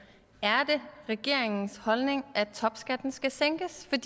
er det regeringens holdning at topskatten skal sænkes vi